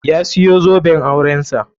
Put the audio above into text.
Ya siyo zoben auren sa.